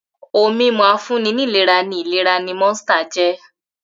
Ohun-mímu afúnni-nílera ni ìlera ni Monster jẹ́.